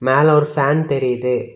மேல ஒரு ஃபேன் தெரியுது.